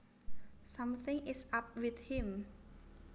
Something is up with him